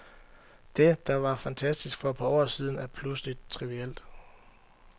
Det, der var fantastisk for et par år siden, er pludselig trivielt.